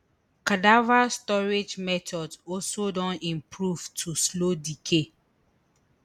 cadaver storage methods also don improve to slow decay